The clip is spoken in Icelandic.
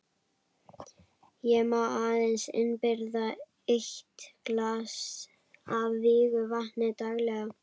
Ég má aðeins innbyrða eitt glas af vígðu vatni daglega.